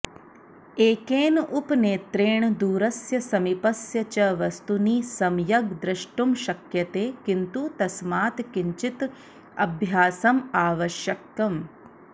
एकेन उपनेत्रेण दूरस्य समीपस्य च वस्तूनि सम्यग् द्रष्टुं शक्यते किन्तु तस्मात् किञ्चित् अभ्यासम् आवश्यकम्